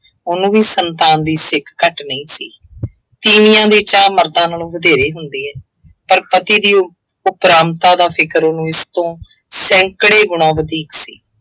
ਉਹਨੂੰ ਵੀ ਸੰਤਾਨ ਦੀ ਸਿੱਕ ਘੱਟ ਨਹੀਂ ਸੀ। ਤੀਵੀਆਂ ਦੇ ਚਾਅ ਮਰਦਾਂ ਨਾਲੋਂ ਵਧੇਰੇ ਹੁੰਦੇ ਏ, ਪਰ ਪਤੀ ਦੀ ਉਪਰਾਮਤਾ ਦਾ ਫਿਕਰ ਉਸ ਤੋਂ ਸੈਂਕੜੇ ਗੁਣਾ ਵਧੀਕ ਸੀ।